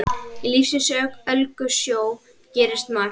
Í lífsins ólgusjó gerist margt.